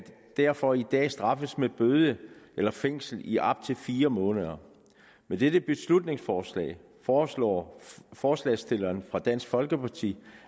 derfor i dag straffes med bøde eller fængsel i op til fire måneder med dette beslutningsforslag foreslår forslagsstillerne fra dansk folkeparti